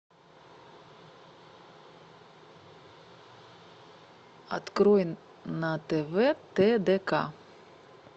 открой на тв тдк